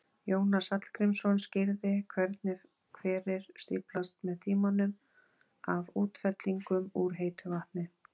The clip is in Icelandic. Jónas Hallgrímsson skýrði hvernig hverir stíflast með tímanum af útfellingum úr heitu vatni.